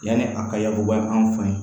Yanni a ka yakubaya an fɛ yen